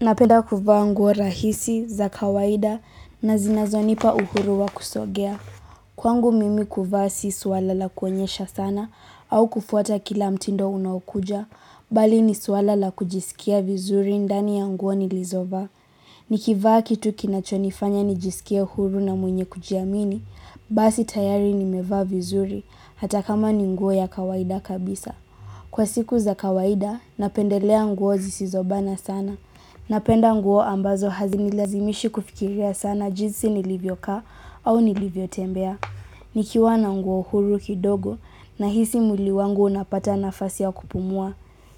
Napenda kuvaa nguo rahisi za kawaida na zinazonipa uhuru wa kusogea. Kwangu mimi kuvaa si suala la kuonyesha sana au kufuata kila mtindo unaokuja, bali ni suala la kujisikia vizuri ndani ya nguo nilizovaa. Nikivaa kitu kinachonifanya nijisikie huru na mwenye kujiamini, basi tayari nimevaa vizuri hata kama ni nguo ya kawaida kabisa. Kwa siku za kawaida, napendelea nguo zisizobana sana. Napenda nguo ambazo hazinilazimishi kufikiria sana jinsi nilivyokaa au nilivyotembea. Nikiwa na nguo huru kidogo nahisi mwili wangu unapata nafasi ya kupumua.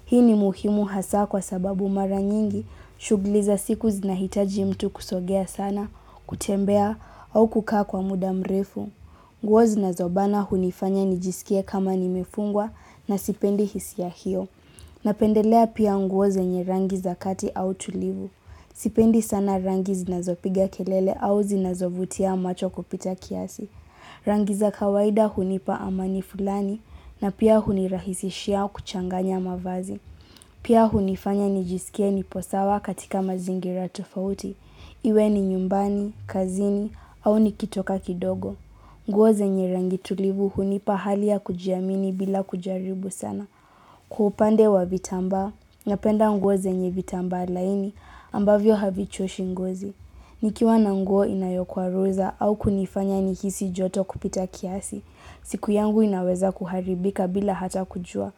Hii ni muhimu hasa kwa sababu mara nyingi shugli za siku zinahitaji mtu kusogea sana, kutembea au kukaa kwa muda mrefu. Nguo zinazobana hunifanya nijisikie kama nimefungwa na sipendi hisia hiyo. Napendelea pia nguo zenye rangi za kati au tulivu. Sipendi sana rangi zinazopiga kelele au zinazovutia macho kupita kiasi. Rangi za kawaida hunipa amani fulani na pia hunirahisishia kuchanganya mavazi. Pia hunifanya nijisikie nipo sawa katika mazingira tofauti. Iwe ni nyumbani, kazini au nikitoka kidogo. Nguo zenye rangi tulivu hunipa hali ya kujiamini bila kujaribu sana. Kwa upande wa vitamba, napenda nguo zenye vitambaa laini, ambavyo havichoshi ngozi. Nikiwa na nguo inayokwaruza au kunifanya nihisi joto kupita kiasi, siku yangu inaweza kuharibika bila hata kujua.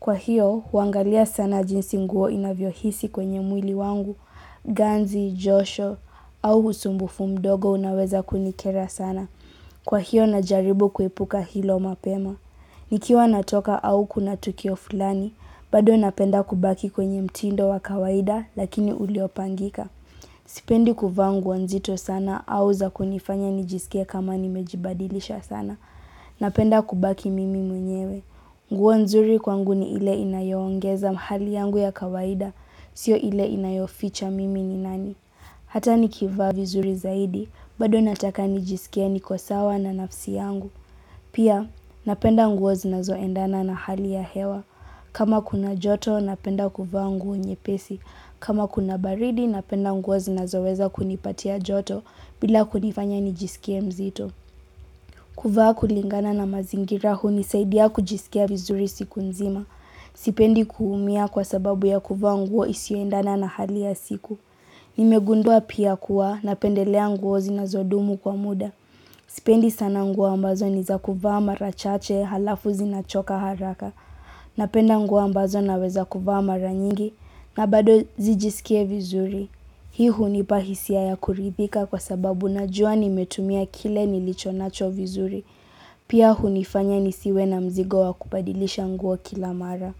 Kwa hiyo, huangalia sana jinsi nguo inavyohisi kwenye mwili wangu, ganzi, josho au husumbufu mdogo unaweza kunikera sana. Kwa hiyo na jaribu kuipuka hilo mapema. Nikiwa natoka au kuna tukio fulani, bado napenda kubaki kwenye mtindo wa kawaida lakini uliopangika. Sipendi kuvaa nguo nzito sana au za kunifanya nijisikie kama nimejibadilisha sana. Napenda kubaki mimi mwenyewe. Nguo nzuri kwangu ni ile inayoongeza mahali yangu ya kawaida, sio ile inayoficha mimi ni nani. Hata nikivaa vizuri zaidi, bado nataka nijiskie niko sawa na nafsi yangu. Pia, napenda nguo zinazoendana na hali ya hewa. Kama kuna joto, napenda kuvaa nguo nyepesi. Kama kuna baridi, napenda nguo zinazoweza kunipatia joto bila kunifanya nijisikie mzito. Kuvaa kulingana na mazingira hunisaidia kujisikia vizuri siku nzima. Sipendi kuumia kwa sababu ya kuvaa nguo isioendana na hali ya siku. Nimegundua pia kuwa napendelea nguo zinazodumu kwa muda. Sipendi sana nguo ambazo ni za kuvaa mara chache halafu zinachoka haraka. Napenda nguo ambazo naweza kuvaa mara nyingi na bado zijisikie vizuri. Hii hunipa hisia ya kuridhika kwa sababu najua nimetumia kile nilichonacho vizuri. Pia hunifanya nisiwe na mzigo wa kubadilisha nguo kila mara.